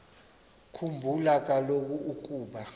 khumbula kaloku ukuba